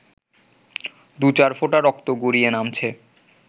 দু-চার ফোঁটা রক্ত গড়িয়ে নামছে